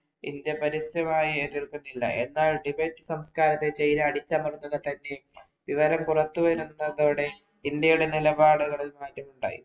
India പരസ്യമായി ഏറ്റെടുത്തിട്ടില്ല. എന്നാൽ ടിബറ്റ് സംസ്കാരത്തെ ചൈന അടിച്ചമർത്തുകതന്നെ വിവരം പുറത്തു വരുന്നതോടെ ഇന്ത്യയുടെ നിലപാടുകളില്‍ മാറ്റമുണ്ടായി.